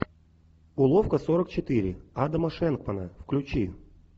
уловка сорок четыре адама шенкмана включи